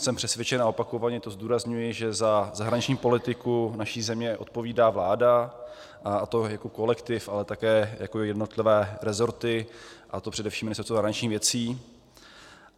Jsem přesvědčen, a opakovaně to zdůrazňuji, že za zahraniční politiku naší země odpovídá vláda, a to jako kolektiv, ale také jako jednotlivé resorty, a to především Ministerstvo zahraničních věcí.